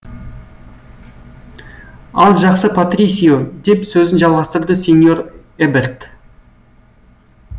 ал жақсы патрисио деп сөзін жалғастырды сеньор эберт